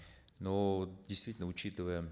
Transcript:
но действительно учитывая